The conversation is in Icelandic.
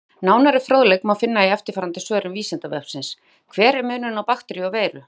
Nánari fróðleik má finna í eftirfarandi svörum Vísindavefsins: Hver er munurinn á bakteríu og veiru?